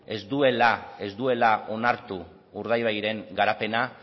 ez duela onartu urdaibairen garapena